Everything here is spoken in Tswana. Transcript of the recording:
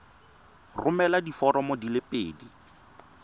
romela diforomo di le pedi